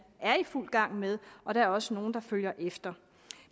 er i fuld gang med og der er også nogle der følger efter